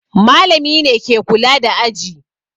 Malami ne ke kula da aji.